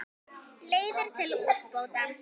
Leiðir til úrbóta skoðar.